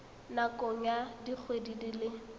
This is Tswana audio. nakong ya dikgwedi di le